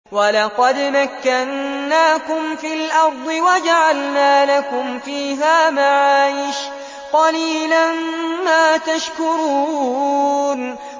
وَلَقَدْ مَكَّنَّاكُمْ فِي الْأَرْضِ وَجَعَلْنَا لَكُمْ فِيهَا مَعَايِشَ ۗ قَلِيلًا مَّا تَشْكُرُونَ